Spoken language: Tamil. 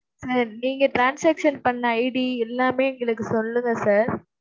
sir நீங்க transaction பண்ண ID எல்லாமே எங்களுக்குச் சொல்லுங்க sir.